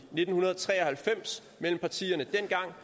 nitten tre og halvfems mellem partierne dengang